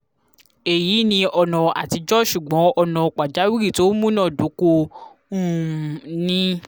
eyi ni ona atijo sugbon ona pajawiri to munadoko um ni